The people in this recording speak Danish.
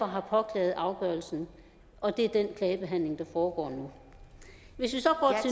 har påklaget afgørelsen og det er den klagebehandling der foregår nu hvis vi